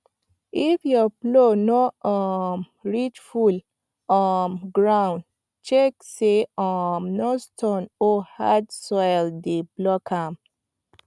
if your plow no um reach full um ground check say um no stone or hard soil dey block am